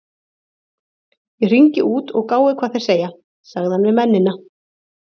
Ég hringi út og gái hvað þeir segja- sagði hann við mennina.